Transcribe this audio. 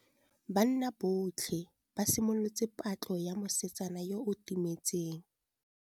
Banna botlhê ba simolotse patlô ya mosetsana yo o timetseng.